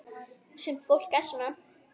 Sumt fólk er svona.